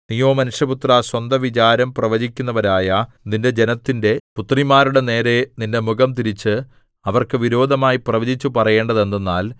നീയോ മനുഷ്യപുത്രാ സ്വന്തവിചാരം പ്രവചിക്കുന്നവരായ നിന്റെ ജനത്തിന്റെ പുത്രിമാരുടെനേരെ നിന്റെ മുഖംതിരിച്ച് അവർക്ക് വിരോധമായി പ്രവചിച്ചു പറയേണ്ടതെന്തെന്നാൽ